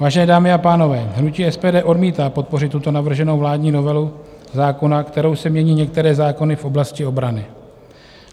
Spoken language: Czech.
Vážené dámy a pánové, hnutí SPD odmítá podpořit tuto navrženou vládní novelu zákona, kterou se mění některé zákony v oblasti obrany.